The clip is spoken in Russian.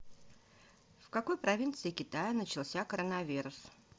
в какой провинции китая начался коронавирус